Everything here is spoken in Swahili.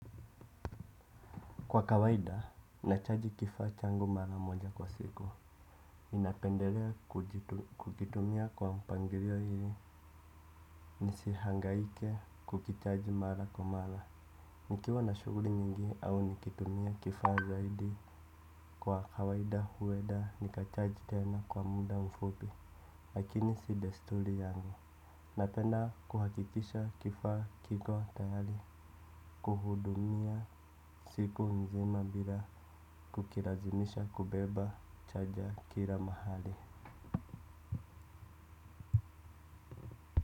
Kwa kawaida, nachaji kifaa changu mara moja kwa siku. Ninapendelea kukitumia kwa mpangilio ili, nisihangaike kukihitaji mara kwa mara. Nikiwa na shughuli nyingi au nikitumia kifaa zaidi kwa kawaida huenda, nikacharge tena kwa muda mfupi, lakini si desturi yangu. Napenda kuhakikisha, kifaa, kiko, tayari, kuhudumia, siku nzima bila, kukilazimisha, kubeba, chaja, kila mahali.